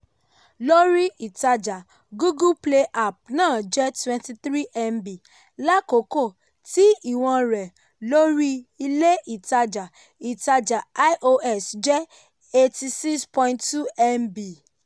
lórí ìtajà google play app náà jẹ́ twenty three mb l'akoko ti ìwọ̀n rẹ̀ lórí ilé ìtajà ìtajà ios jẹ́ eighty six point two mb